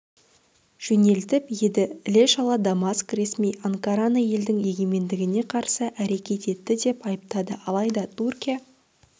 жөнелтіп еді іле-шала дамаск ресми анкараны елдің егемендігіне қарсы әрекет етті деп айыптады алайда түркия